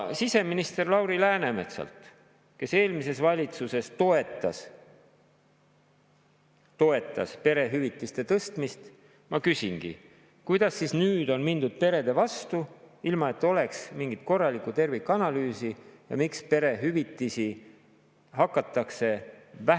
Siseminister Lauri Läänemetsalt, kes eelmises valitsuses toetas perehüvitiste tõstmist, ma küsingi: kuidas siis nüüd on mindud perede vastu, ilma et oleks mingit korralikku tervikanalüüsi, ja miks hakatakse perehüvitisi vähendama?